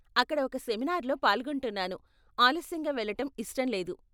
అక్కడ ఒక సెమినార్లో పాల్గొంటున్నాను, ఆలస్యంగా వెళ్ళటం ఇష్టం లేదు.